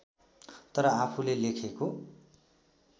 तर आफूले लेखेको